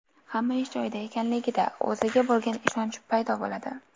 Hamma ish joyida ekanligida, o‘ziga bo‘lgan ishonch paydo bo‘ladi.